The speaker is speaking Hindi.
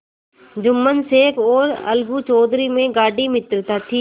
जुम्मन शेख और अलगू चौधरी में गाढ़ी मित्रता थी